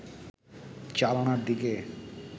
জানালার দিকে